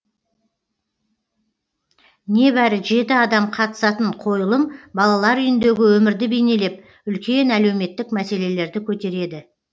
небәрі жеті адам қатысатын қойылым балалар үйіндегі өмірді бейнелеп үлкен әлеуметтік мәселелерді көтереді